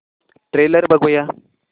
trailer बघूया